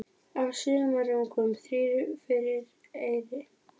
Af sumrungum þrír fyrir eyri.